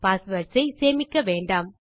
passwords ஐ சேமிக்க வேண்டாம்